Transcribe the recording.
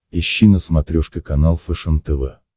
ищи на смотрешке канал фэшен тв